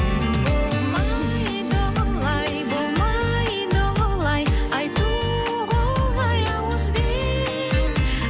болмайды олай болмайды олай айтуға оңай ауызбен